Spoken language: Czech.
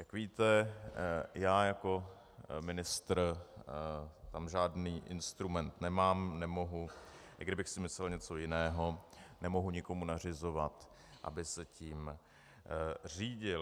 Jak víte, já jako ministr tam žádný instrument nemám, nemohu, i kdybych si myslel něco jiného, nemohu někomu nařizovat, aby se tím řídil.